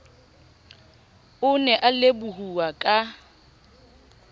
o ne a lebohuwa ka